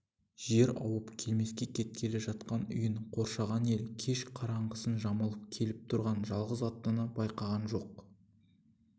жер ауып келмеске кеткелі жатқан үйін қоршаған ел кеш қараңғысын жамылып келіп тұрған жалғыз аттыны байқаған жоқ